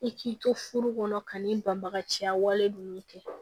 I k'i to furu kɔnɔ ka n'i banbagaciya wale ninnu kɛ